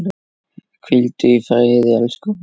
Hvíldu í friði, elsku Óli.